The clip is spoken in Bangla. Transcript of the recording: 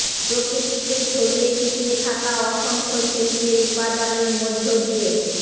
প্রকৃতিতে ছড়িয়ে ছিটিয়ে থাকা অসংখ্য শিল্পের উপাদানের মধ্য দিয়ে